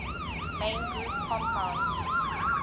main group compounds